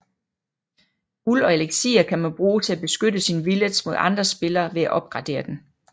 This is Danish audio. Guld og elixir kan man bruge til at beskytte sin village mod andre spillere ved at opgradere den